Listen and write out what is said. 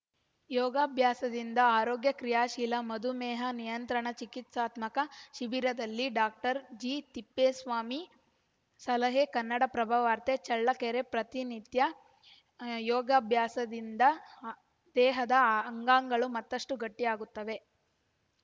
ಯೋಗಾಭ್ಯಾಸದಿಂದ ಆರೋಗ್ಯ ಕ್ರಿಯಾಶೀಲ ಮಧುಮೇಹ ನಿಯಂತ್ರಣ ಚಿಕಿತ್ಸಾತ್ಮಕ ಶಿಬಿರದಲ್ಲಿ ಡಾಕ್ಟರ್ ಜಿತಿಪ್ಪೇಸ್ವಾಮಿ ಸಲಹೆ ಕನ್ನಡಪ್ರಭ ವಾರ್ತೆ ಚಳ್ಳಕೆರೆ ಪ್ರತಿನಿತ್ಯ ಯೋಗಾಭ್ಯಾಸದಿಂದ ದೇಹದ ಆ ಅಂಗಾಂಗಗಳು ಮತ್ತಷ್ಟುಗಟ್ಟಿಯಾಗುತ್ತವೆ